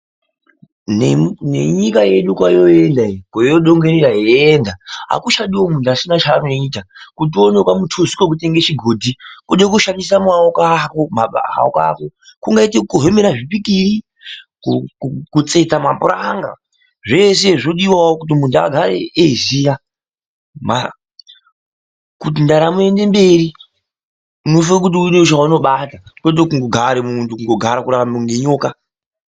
Nenyika yedu kwoyoenda iyi kwoyo dongorera yeienda akuchadiwo munhu asina chaanoita kutiuonewo kamutuso kekutenge chigodhi wode kushandisa maooko ako kungaite kukohemera zvipikiri, kutsetsa mapuranga zvese zvodiwao kuti muntu agare eiziya kuti ndaramo iende mberiunofane kuitawo chaunobata kwete kungogara kundogara munhu kurarama kunge nyoka.